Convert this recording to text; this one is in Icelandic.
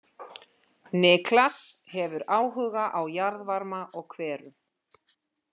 Niklas hefur áhuga á jarðvarma og hverum.